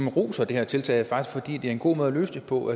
roser det her tiltag fordi det er en god måde at løse det på